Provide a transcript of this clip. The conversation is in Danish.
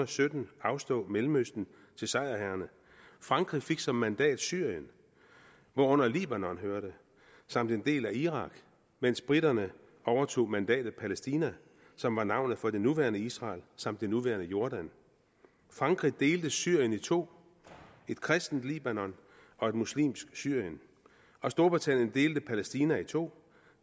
sytten afstå mellemøsten til sejrherrerne frankrig fik som mandat syrien hvorunder libanon hørte samt en del af irak mens briterne overtog mandatet palæstina som var navnet for det nuværende israel samt det nuværende jordan frankrig delte syrien i to et kristent libanon og et muslimsk syrien og storbritannien delte palæstina i to